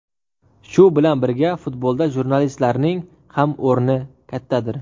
Shu bilan birga, futbolda jurnalistlarning ham o‘rni kattadir.